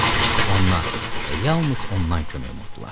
Ondan və yalnız ondan kömək umdular.